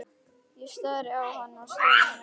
Ég stari á hann og hann starir á móti.